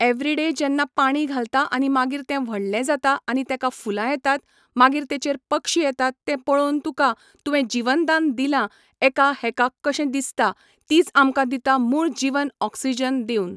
every day जेन्ना पाणी घालता आनी मागीर तें व्हडलें जाता आनी तेंका फुलां येतात मागीर तेचेर पक्षी येतात ते पळोवन तुका तुवें जिवनदान दिलां एका हेका कशें दिसता तीच आमकां दिता मूळ जीवन ऑक्सीजन दिवन